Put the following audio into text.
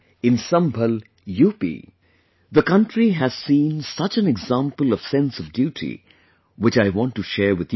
In Sambhal UP, the country has seen such an example of sense of duty, which I want to share with you too